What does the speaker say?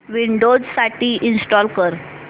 Windows साठी install कर